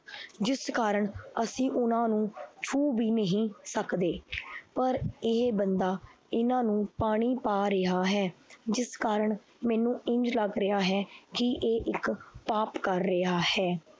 ਜਿਸ ਕਾਰਨ ਅਸੀਂ ਉਹਨਾਂ ਨੂੰ ਛੁਹ ਵੀ ਨਹੀਂ ਸਕਦੇ ਪਰ ਇਹ ਬੰਦਾ ਇਹਨਾਂ ਨੂੰ ਪਾਣੀ ਪਾ ਰਿਹਾ ਹੈ, ਜਿਸ ਕਾਰਨ ਮੈਨੂੰ ਇੰਞ ਲੱਗ ਰਿਹਾ ਹੈ ਕਿ ਇਹ ਇੱਕ ਪਾਪ ਕਰ ਰਿਹਾ ਹੈ।